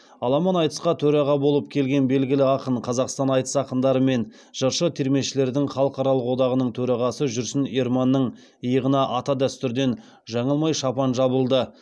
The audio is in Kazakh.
аламан айтысқа төраға болып келген белгілі ақын қазақстан айтыс ақындары мен жыршы термешілердің халықаралық одағаның төрағасы жүрсін ерманның иығына ата дәстүрден жаңылмай шапан жабылды